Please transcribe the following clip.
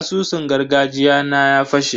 Asusun gargajiya na ya fashe.